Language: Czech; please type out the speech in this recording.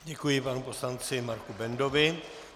Děkuji panu poslanci Marku Bendovi.